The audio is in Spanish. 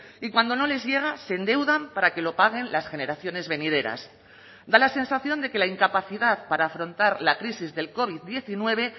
y cuando no les llega se endeudan para que lo paguen las generaciones venideras da la sensación de que la incapacidad para afrontar la crisis del covid diecinueve